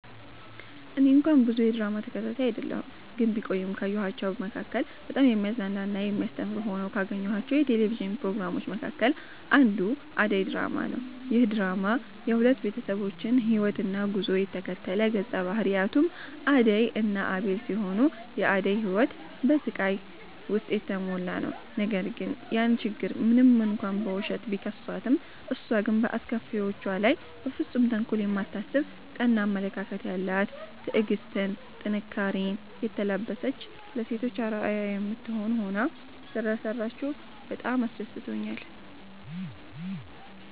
እኔ እንኳን ብዙ የድራማ ተከታታይ አይደለሁ ግን ቢቆይም ካየኋቸዉ መካከል በጣም የሚያዝናና እና የሚያስተምር ሆነው ካገኘኋቸው የቴሌቪዥን ፕሮግራሞች መካከል አንዱ አደይ ድራማ ነዉ። ይህ ድራማ የሁለት ቤተሰቦችን ህይወትና ጉዞ የተከተለ ነዉ ገፀ ባህሪያቱም አደይ እና አቤል ሲሆኑ የአደይ ህይወት በስቃይ ዉስጥ የተሞላ ነዉ ነገር ግን ያን ችግር ሞንም እንኳን በዉሸት፣ ቢከሷትም እሷ ግን በአስከፊዎቿ ላይ በፍፁም ተንኮል የማታስብ ቀና አመለካከት ያላት ትዕግስትን፣ ጥንካሬኔ የተላበሰች ለሴቶች አርአያ የምትሆን ሆና ሰለሰራችዉ በጣም አስደስቶኛል።